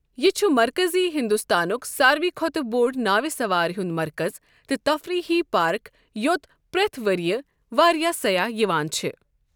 یہِ چُھ مرکٔزی ہنٛدوستانُک سارِوٕے کھۄتہٕ بوٚڑ ناوِ سَوارِ ہُنٛد مرکز تہٕ تفریٖحی پارک یو٘ت پرٛیٚتھ ؤرۍیہِ واریاہ سیاح یِوان چھِ ۔